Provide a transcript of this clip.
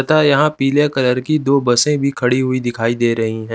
तथा यहाँ पीले कलर की दो बसें भी दिखाई दे रही हैं।